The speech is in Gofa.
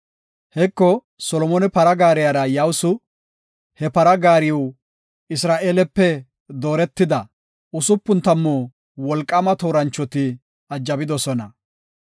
Heko, Solomone para gaariya yawusu; he para gaariw Isra7eelepe dooretida, usupun tammu wolqaama tooranchoti ajabidosona.